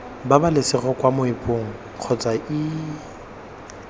pabalesego kwa moepong kgotsa iii